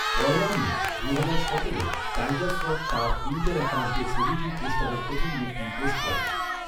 পয়লা May দুহাজার সতেরোয়, Tiger Shroff তাঁর টুইটার অ্যাকাউণ্টে ছবিটির পোস্টারের প্রথম লুকটি পোস্ট করেন।